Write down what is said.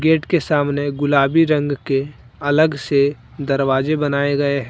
Gate के सामने गुलाबी रंग के अलग से दरवाजे बनाए गए हैं।